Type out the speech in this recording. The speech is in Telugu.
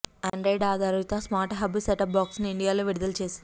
ఆండ్రాయిడ్ ఆధారిత స్మార్ట్ హబ్ సెటప్ బాక్సును ఇండియాలో విడుదల చేసింది